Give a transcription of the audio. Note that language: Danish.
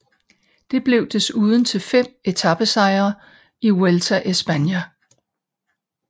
Det blev desuden til fem etapesejre i Vuelta a España